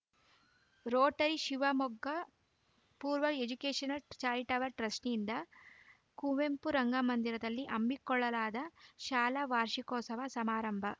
Rotary Shivamogga ಪೂರ್ವ educational charitable trustee ಯಿಂದ ಕುವೆಂಪು ರಂಗಮಂದಿರದಲ್ಲಿ ಹಮ್ಮಿಕೊಳ್ಳಲಾದ ಶಾಲಾ ವಾರ್ಷಿಕೋತ್ಸವ ಸಮಾರಂಭ